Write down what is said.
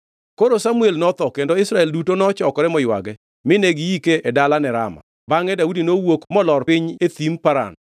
Koro Samuel notho, kendo Israel duto nochokore moywage; mine giike e dalane Rama. Bangʼe Daudi nowuok molor piny e Thim Paran.